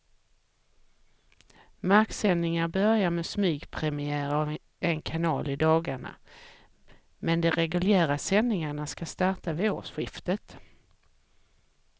Marksändningar börjar med smygpremiär av en kanal i dagarna, men de reguljära sändningarna ska starta vid årsskiftet.